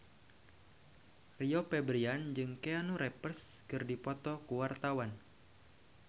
Rio Febrian jeung Keanu Reeves keur dipoto ku wartawan